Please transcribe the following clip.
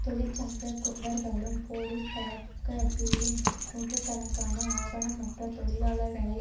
தொழிற்சங்க குண்டர்களும் போலீஸ் கலக பிரிவும் நூற்று கணக்கான ஆவணமற்ற தொழிலாளர்களை